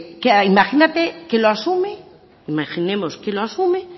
imagínate que lo asume imaginemos que lo asume